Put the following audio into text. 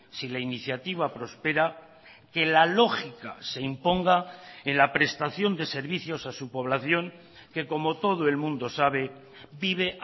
si la iniciativa prospera que la lógica se imponga en la prestación de servicios a su población que como todo el mundo sabe vive